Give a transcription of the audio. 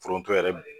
Foronto yɛrɛ